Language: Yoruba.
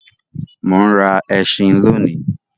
Mo ń rà ẹṣin lóni.